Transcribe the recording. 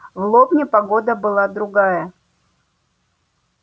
в лобне погода была другая